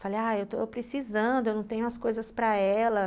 Falei, ah, eu estou precisando, eu não tenho as coisas para ela.